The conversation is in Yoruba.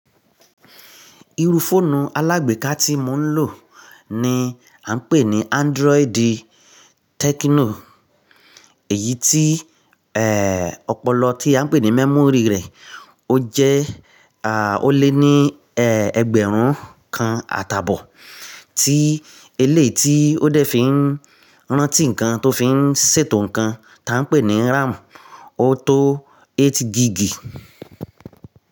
Iru fọ́ọ̀nù alágbèéká tí mò ń lò ni à ń pè ní Android Techno. Èyí tí, ẹ́, ọpọlọ tí à ń pè ní memory rẹ̀, ó jẹ́, à, ó lé ní, ẹ́, ẹgbẹ̀rún kan àtàbọ̀. Tí eléeti ó dẹ̀ fi ń rántí ǹkan tó fi ń ṣètò ǹkan, tá ń pè ní RAM, ó tó eight gigí.